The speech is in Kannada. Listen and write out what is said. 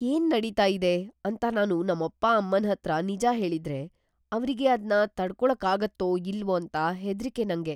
ಏನ್‌ ನಡೀತಾ ಇದೆ ಅಂತ ನಾನು ನಮ್ಮಪ್ಪ ಅಮ್ಮನ್ಹತ್ರ ನಿಜ ಹೇಳಿದ್ರೆ, ಅವ್ರಿಗೆ ಅದ್ನ ತಡ್ಕೊಳಕ್ಕಾಗತ್ತೋ ಇಲ್ವೋ ಅಂತ ಹೆದ್ರಿಕೆ ನಂಗೆ.